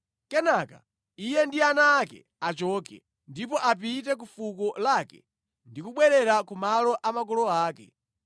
Kenaka iye ndi ana ake achoke, ndipo apite ku fuko lake ndi kubwerera ku malo a makolo ake.